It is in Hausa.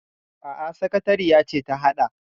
Aa, sakatariya ce ta haɗa.